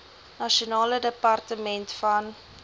nasionale departement van